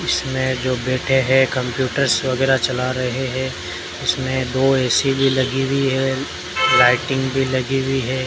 इसमें जो बैठे हैं कंप्यूटर्स वगैरा चला रहे हैं इसमें दो ए_सी भी लगी हुई हैं लाइटिंग भी लगी हुई हैं।